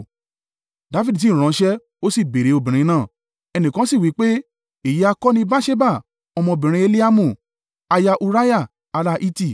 Dafidi sì ránṣẹ́ ó sì béèrè obìnrin náà. Ẹnìkan sì wí pé, “Èyí ha kọ́ ni Batṣeba, ọmọbìnrin Eliamu, aya Uriah ará Hiti.”